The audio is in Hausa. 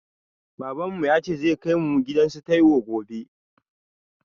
Baban mu yace zai kai mu gidan su taiwo gobe